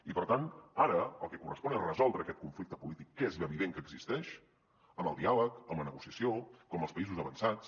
i per tant ara el que correspon és resoldre aquest conflicte polític que és evident que existeix amb el diàleg amb la negociació com els països avançats